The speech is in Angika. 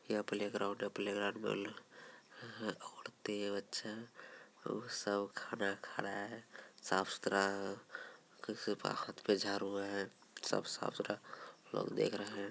यहाँ प्लेग्राउंड हैं प्लेग्राउंड में ल औरते बच्चे और सब खड़ा खड़ा है । साफ़ सुथरा किसी पे खत पे जारु है सब साफ़ सुरा लोग देख रहे हैं।